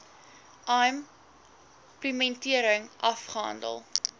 im plementering afgehandel